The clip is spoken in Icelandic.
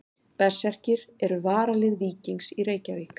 Berserkir eru varalið Víkings í Reykjavík.